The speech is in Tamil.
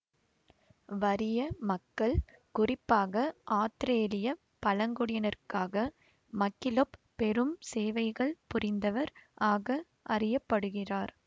வறிய மக்கள் குறிப்பாக ஆத்திரேலிய பழங்குடியினருக்காக மக்கிலெப் பெரும் சேவைகள் புரிந்தவர் ஆக அறிய படுகிறார்